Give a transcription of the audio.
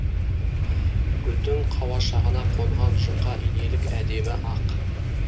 гүлдің қауашағына қонған жұқа инелік әдемі ақ